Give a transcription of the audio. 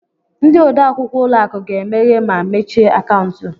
Ndị odeakwụkwọ ụlọ akụ ga-emeghe ma mechie akaụntụ.